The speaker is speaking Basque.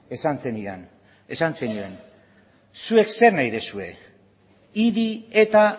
esan zenidan zuek zer nahi duzue idi eta